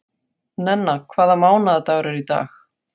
Nenna, hvaða mánaðardagur er í dag?